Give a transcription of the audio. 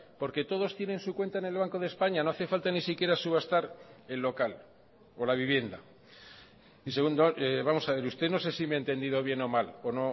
porque todos tienen su cuenta en el banco de españa no hace falta ni siquiera subastar el local o la vivienda y segundo vamos a ver usted no sé si me ha entendido bien o mal o